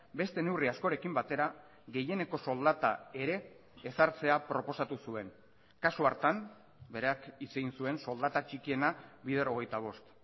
beste neurri askorekin batera gehieneko soldata ere ezartzea proposatu zuen kasu hartan berak hitz egin zuen soldata txikiena bider hogeita bost